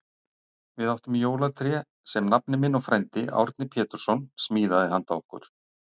Við áttum jólatré sem nafni minn og frændi, Árni Pétursson, smíðaði handa okkur.